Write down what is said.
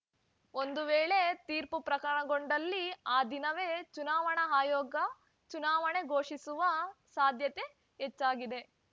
ಒಂದು ವೇಳೆ ತೀರ್ಪು ಪ್ರಕಟಗೊಂಡಲ್ಲಿ ಆ ದಿನವೇ ಚುನಾವಣಾ ಆಯೋಗ ಚುನಾವಣೆ ಘೋಷಿಸುವ ಸಾಧ್ಯತೆ ಹೆಚ್ಚಾಗಿದೆ